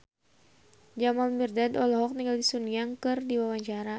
Jamal Mirdad olohok ningali Sun Yang keur diwawancara